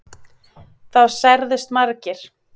Þá særðust margir